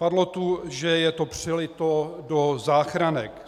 Padlo tu, že je to přelito do záchranek.